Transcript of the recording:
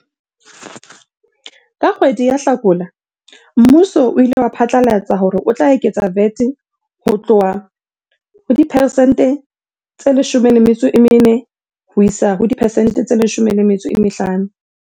Ka kgwedi ya Hlakola mmuso o ile wa phatlalatsa hore o tla eketsa VAT ho tloha ho diperesente tse 14 ho isa ho diperesente tse 15.